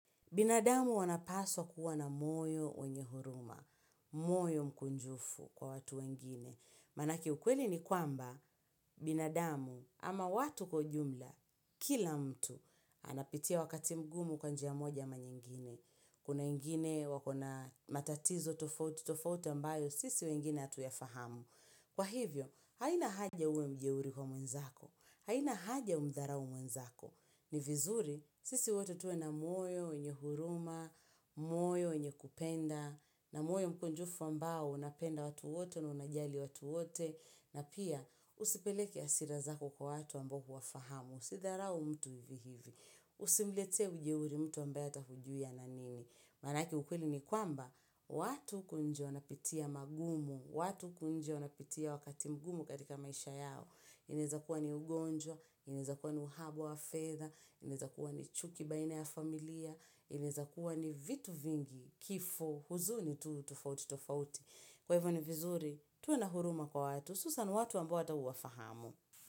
Binadamu wanapaswa kuwa na moyo wenye huruma, moyo mkunjufu kwa watu wengine. Manake ukweli ni kwamba, binadamu ama watu kwa ujumla, kila mtu anapitia wakati mgumu kwa njia moja ama nyingine. Kuna wengine wakona matatizo tofouti, tofouti ambayo, sisi wengine hatu yafahamu. Kwa hivyo, haina haja uwe mjeuri kwa mwenzako, haina haja umdharaumwenzako. Ni vizuri, sisi wote tuwe na moyo, mwenye huruma, moyo, wenye kupenda, na moyo mkunjufu ambao unapenda watu wote na unajali watu wote, na pia usipeleke hasira zako kwa watu ambaye humfahamu, usidharau mtu hivi hivi. Usimletee ujeuri mtu ambaye ghata hujui ana nini. Maanake ukweli ni kwamba, watu huku nje wanapitia magumu, watu huku nje wanapitia wakati mgumu katika maisha yao. Inaezakuwa ni ugonjwa, inaezakuwa ni uhaba wa fedha inezakuwa ni chuki baina ya familia, inezakuwa ni vitu vingi kifo huzuni tu tofauti tofauti. Kwa hivyo ni vizuri, tuwenahuruma kwa watu, hususan watu ambao hata huwafahamu.